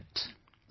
I liked it